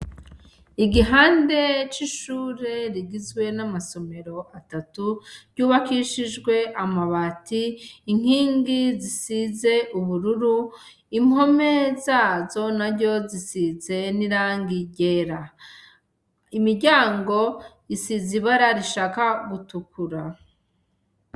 Igihande c'ishure rigizwe n'amasomero atatu, ryubakishijwe amabati, inkingi zisize ubururu, impome zazo naryo zisizwe n'irangi ryera. Imiryango isize ibara rishaka gutukura.